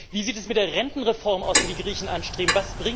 Wie sieht es mit der Rentenreform aus, die die Griechen anstreben?